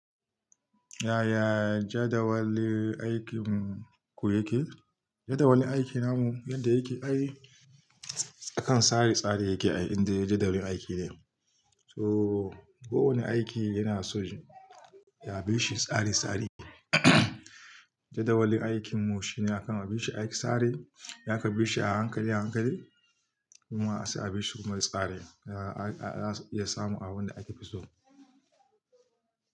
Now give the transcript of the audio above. Yaya jadawali aikin ku yake? Jadawali aikin namu yadda yake ai akan tsare-tsare yake ai inda ya je jadawalin aiki ne. So kowane aiki yana so ya bi shi tsare-tsare. Jadawalin aikin mu shine akan a bi shi aiki tsare, ya ka bi shi a hankali, a hankali kuma sai a bi shi kuma tsare. Za-za su iya samu abin da ake fi so.